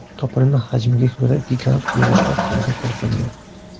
Topilma hajmiga ko‘ra gigant viruslar turiga kiritildi.